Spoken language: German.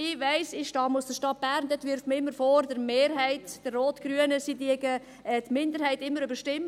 Ich weiss, in der Stadt Bern wirft man der rotgrünen Mehrheit immer vor, sie würde die Minderheit immer überstimmen.